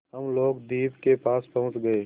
हम लोग द्वीप के पास पहुँच गए